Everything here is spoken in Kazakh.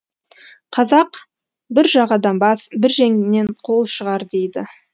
қазақ бір жағадан бас бір жеңнен қол шығар дейді